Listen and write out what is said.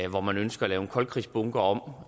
hvor man ønsker at lave en koldkrigsbunker om